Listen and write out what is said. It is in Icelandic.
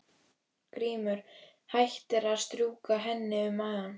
Grímur hættir að strjúka henni um magann.